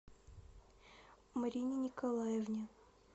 марине николаевне